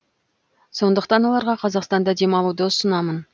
сондықтан оларға қазақстанда демалуды ұсынамын